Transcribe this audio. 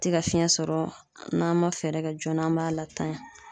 Te ka fiɲɛ sɔrɔ n'an ma fɛɛrɛ kɛ joona an b'a latanya.